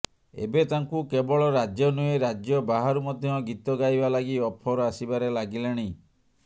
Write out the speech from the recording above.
ଏବେ ତାଙ୍କୁ କେବଳ ରାଜ୍ୟ ନୁହେଁ ରାଜ୍ୟ ବାହାରୁ ମଧ୍ୟ ଗୀତ ଗାଇବା ଲାଗି ଅଫର ଆସିବାରେ ଲାଗିଲାଣି